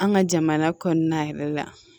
An ka jamana kɔnɔna yɛrɛ la